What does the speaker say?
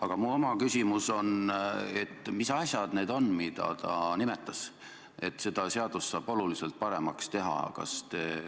Aga mu oma küsimus on see: mis asjad need on, mida ta nimetas, millega seda seadust saab oluliselt paremaks teha?